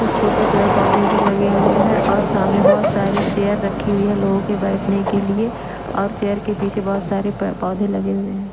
कुछ छोटे पेड़ पोधे भी लगे हुए है और सामने बहुत सारी चेयर रखी हुई है लोगों के बेठने के लिए और चेयर के पीछे बहुत सारे प-पोधे लगे हुए हैं।